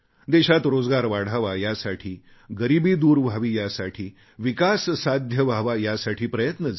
देशात रोजगार वाढावा यासाठी गरीबी दूर व्हावी यासाठी विकास साध्य व्हावा यासाठी प्रयत्न झाले